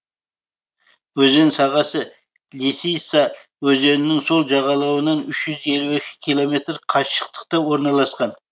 өзен сағасы лисица өзенінің сол жағалауынан үш жүз елу екі километр қашықтықта орналасқан